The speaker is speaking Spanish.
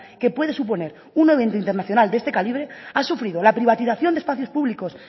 que puede suponer un evento internacional de este calibre ha sufrido la privatización de espacios públicos